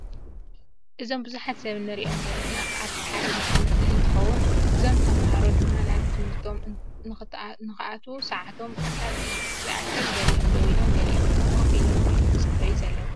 እዞም ቡዙሓት ሰብ እንሪኦም ዘለና ኣብ ሓደ ቤት ትምህርቲ እንትኮን እዞም ተማሃሮ ድማ ናብ ትምህርቶ ንክኣትዉ ሰዓቶም ክሳብ ዝኣክል ገሊኦም ደው ኢሎም ገሊኦም ድማ ኮፍ ኢሎም ይፅበዩ ኣለዉ።